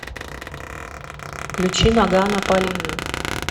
включи ноггано полина